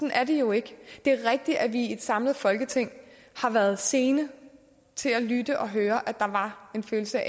er det jo ikke det er rigtigt at vi i et samlet folketing har været sene til at lytte til og høre at der var en følelse